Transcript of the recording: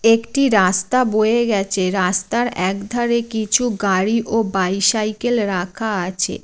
একটি রাস্তা বয়ে গেছে। রাস্তার একধারে কিছু গাড়ি ও বাইসাইকেল রাখা আছে।